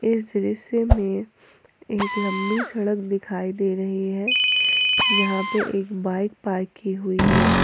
इस दृश्य में एक लंबी सड़क दिखाई दे रही है जहां पे एक बाइक पार्क की हुई है।